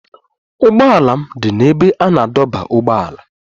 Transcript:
Ụgbọala m dị n'ebe a na-adọba ụgbọala